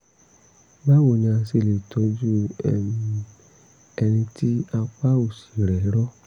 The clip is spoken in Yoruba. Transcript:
báwo ni a ṣe lè tọ́jú um ẹni tí apá òsì rẹ̀ rọ?